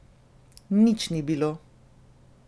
Nič ni bilo.